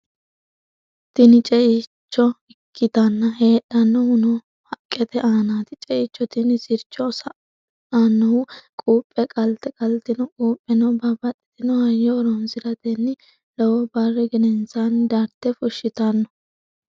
tini ceicho ikkitanna, heedhannohuno haqqete aanaati. ceicho tini sircho sa"annohu quuphe qalte, qaltino quupheno babbaxitino hayyo horonsiratenni lowo barri gedensaanni darte fushitanno.